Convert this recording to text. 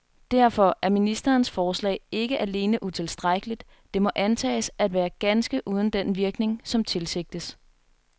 Derfor er ministerens forslag ikke alene utilstrækkeligt, det må antages at være ganske uden den virkning, som tilsigtes.